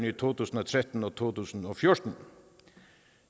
i to tusind og tretten og to tusind og fjorten